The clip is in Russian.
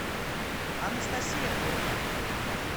анастасия бойко